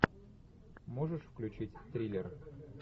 можешь включить триллер